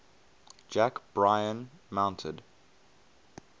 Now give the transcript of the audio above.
jack bryan mounted